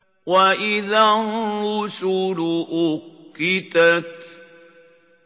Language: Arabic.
وَإِذَا الرُّسُلُ أُقِّتَتْ